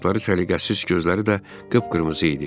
Saçları səliqəsiz, gözləri də qıpqırmızı idi.